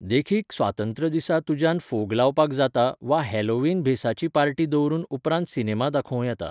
देखीक, स्वातंत्र्य दिसा तुज्यान फोग लावपाक जाता वा हॅलोवीन भेसाची पार्टी दवरून उपरांत सिनेमा दाखोवं येता.